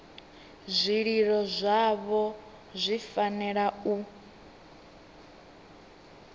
zwililo zwavho zwi fanela u